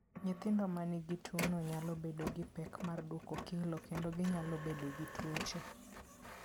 Nyithindo ma nigi tuwono nyalo bedo gi pek mar duoko kilo kendo ginyalo bedo gi tuoche.